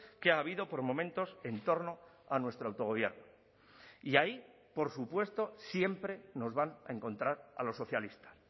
que ha habido por momentos en torno a nuestro autogobierno y ahí por supuesto siempre nos van a encontrar a los socialistas